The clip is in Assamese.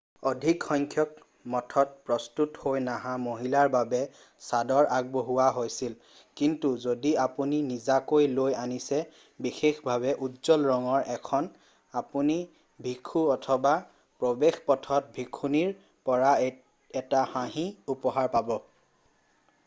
অধিক সংখ্যক মঠত প্ৰস্তুত হৈ নহা মহিলাৰ বাবে চাদৰ আগবঢ়োৱা হৈছিল কিন্তু যদি আপুনি নিজাকৈ লৈ আনিছে বিশেষভাৱে উজ্জ্বল ৰঙৰ ১খন আপুনি ভিক্ষু অথবা প্ৰৱেশ পথত ভিক্ষুণীৰ পৰা এটা হাঁহি উপহাৰ পাব।